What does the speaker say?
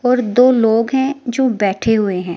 और दो लोग है जो बैठे हुए है।